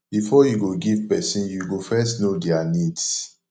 before you go give person you go first know their needs